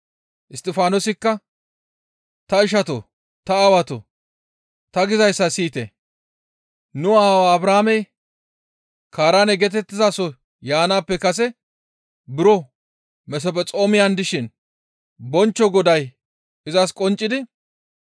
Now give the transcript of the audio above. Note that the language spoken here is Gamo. Isttifaanosikka, «Ta ishatoo! Ta aawatoo! Ta gizayssa siyite! Nu aawa Abrahaamey Kaaraane geetettizaso yaanaappe kase buro Mesphexoomiyan dishin bonchcho Goday izas qonccidi,